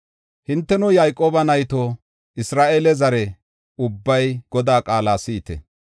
Hinteno, Yayqooba nayto, Isra7eele zare, ubbay Godaa qaala si7ite!